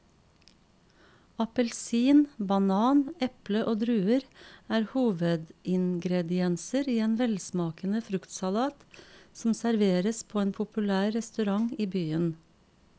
Appelsin, banan, eple og druer er hovedingredienser i en velsmakende fruktsalat som serveres på en populær restaurant i byen.